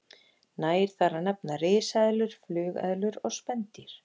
Nægir þar að nefna risaeðlur, flugeðlur og spendýr.